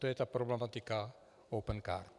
To je ta problematika Opencard.